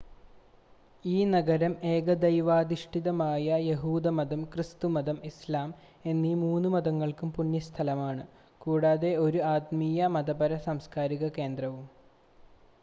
ഈ നഗരം ഏകദൈവാധിഷ്ഠിതമായ യഹൂദമതം ക്രിസ്തുമതം ഇസ്‌ലാം എന്നീ 3 മതങ്ങൾക്കും പുണ്യസ്ഥലമാണ് കൂടാതെ ഒരു ആത്മീയ മതപര സാംസ്കാരിക കേന്ദ്രവുമാണ്